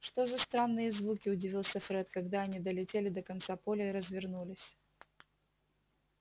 что за странные звуки удивился фред когда они долетели до конца поля и развернулись